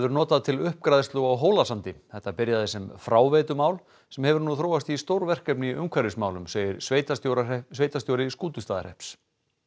notað til uppgræðslu á Hólasandi þetta byrjaði sem fráveitumál sem hefur nú þróast í stórverkefni í umhverfismálum segir sveitarstjóri sveitarstjóri Skútustaðahrepps